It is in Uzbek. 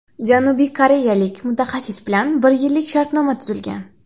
Janubiy koreyalik mutaxassis bilan bir yillik shartnoma tuzilgan.